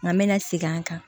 Nka me na segin an kan